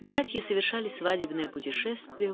братья совершали свадебное путешествие